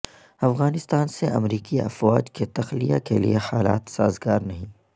افغانستان سے امریکی افواج کے تخلیہ کیلئے حالات سازگار نہیں